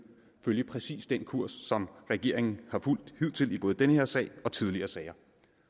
følge præcis den kurs som regeringen har fulgt hidtil i både den her sag og tidligere sager